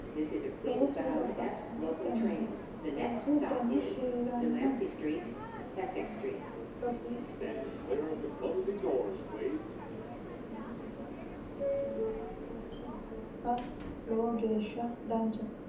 Looso babbaxxino danihu loosu dani heeranno mittu manchi heeshshosi woyyeessate dancha heeshsho heerate umisiha ikkinoha looso loosa lowo geeshsha danchate